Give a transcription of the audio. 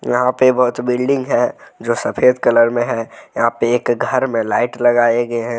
यहां पे बहुत बिल्डिंग है जो सफेद कलर में है यहां पे एक घर में लाइट लगाए गए हैं।